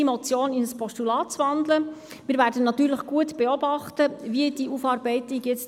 Der Regierungsrat will diese Motion annehmen und abschreiben, und damit bin ich einverstanden, denn dieses Anliegen ist erfüllt.